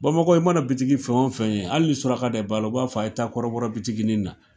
Bamakɔ yan i mana bitiki fɛn o fɛn ye hali ni suraka de b'a la,o b'a fɔ a ye taa kɔrɔbɔrɔ bitikinin na.